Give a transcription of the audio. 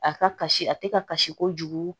A ka kasi a tɛ ka kasi kojugu